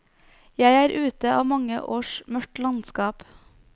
Jeg er ute av mange års mørkt landskap.